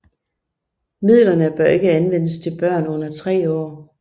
Midlerne bør ikke anvendes til børn under tre år